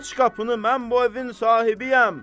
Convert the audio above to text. Aç qapını, mən bu evin sahibiyəm!